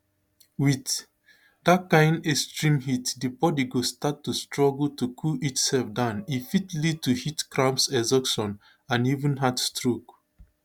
wit dat kain extreme heat di body go start to struggle to cool itself down e fit lead to heat cramps exhaustion and even heatstroke